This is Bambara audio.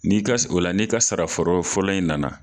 N'i ka o la n'i ka sara fɔrɔ fɔlɔ in nana